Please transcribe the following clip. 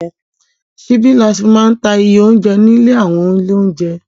Ṣíbí ní a fí máa ń ta iye óunjẹ ní àwọn ilé óunjẹ.